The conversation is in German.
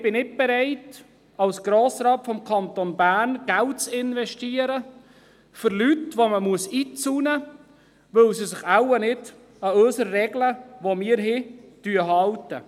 Ich bin nicht bereit, als Grossrat des Kantons Bern, Geld zu investieren für Leute, die man einzäunen muss, weil sie sich wahrscheinlich nicht an unsere Regeln halten.